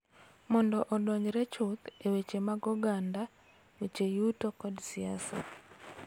Mondo odonjre chuth e weche mag oganda, weche yuto, kod siasa.